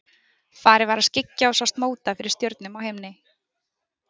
Farið var að skyggja og sást móta fyrir stjörnum á himni.